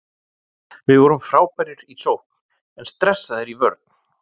Við vorum frábærir í sókn en stressaðir í vörn.